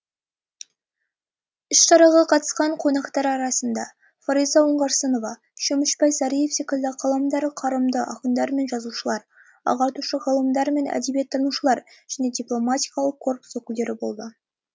іс шараға қатысқан қонақтар арасында фариза оңғарсынова шөмішбай сәриев секілді қаламдары қарымды ақындар мен жазушылар ағартушы ғалымдар мен әдебиеттанушылар және дипломатиялық корпус өкілдері болды